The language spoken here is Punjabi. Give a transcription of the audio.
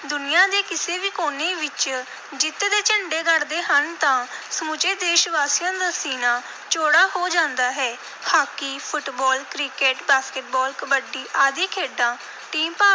ਦੁਨੀਆ ਦੇ ਕਿਸੇ ਵੀ ਕੋਨੇ ਵਿਚ ਜਿੱਤ ਦੇ ਝੰਡੇ ਗੱਡਦੇ ਹਨ ਤਾਂ ਸਮੁੱਚੇ ਦੇਸ਼-ਵਾਸੀਆਂ ਦਾ ਸੀਨਾ ਚੌੜਾ ਹੋ ਜਾਂਦਾ ਹੈ। Hockey, football, cricket, basketball, kabaddi ਆਦਿ ਖੇਡਾਂ team ਭਾਵ